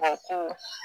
A ko